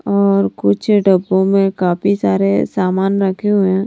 और कुछ डब्बों में काफी सारे सामान रखे हुए हैं।